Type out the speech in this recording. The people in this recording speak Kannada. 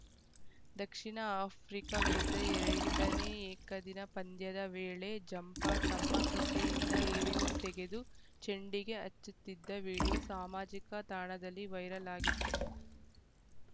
ದಕ್ಷಿಣ ಆಫ್ರಿಕಾ ವಿರುದ್ಧ ಎರಡನೇ ಏಕದಿನ ಪಂದ್ಯದ ವೇಳೆ ಜಂಪಾ ತಮ್ಮ ಕಿಸೆಯಿಂದ ಏನ್ನೋ ತೆಗೆದು ಚೆಂಡಿಗೆ ಹಚ್ಚುತ್ತಿದ್ದ ವಿಡಿಯೋ ಸಾಮಾಜಿಕ ತಾಣದಲ್ಲಿ ವೈರಲ್‌ ಆಗಿತ್ತು